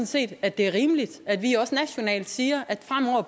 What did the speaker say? set at det er rimeligt at vi også nationalt siger